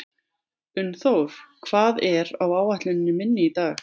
Unnþór, hvað er á áætluninni minni í dag?